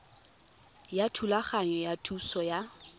ya thulaganyo ya thuso ya